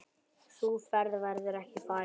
Sú ferð verður ekki farin.